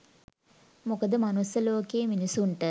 මොකද මනුස්ස ලෝකයේ මිනිස්සුන්ට